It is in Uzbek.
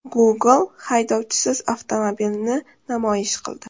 Google haydovchisiz avtomobilni namoyish qildi .